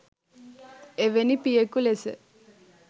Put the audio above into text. එවැනි පියකු ලෙස